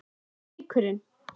En leikurinn?